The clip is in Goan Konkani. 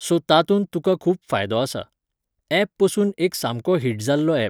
सो तातूंत तुका खूब फायदो आसा. एप पसून एक सामको हीट जाल्लो एप